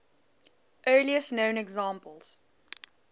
earliest known examples